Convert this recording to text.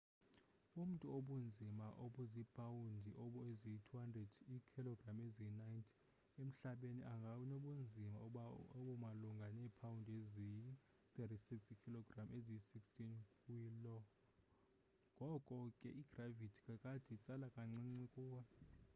umntu obunzima obuzipawundi eziyi-200 iikhologram eziyi-90 emhlabeni anganobunzima obumalunga neepawundi eziyi-36 iikhilogram eziyi-16 kwi lo. ngoko ke igravithi kakade, itsala kancinci kuwe